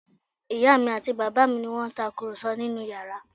Ìyá mi àti bàbá mi ni wọ́n ń tàkùrọ̀sọ nínú yàrá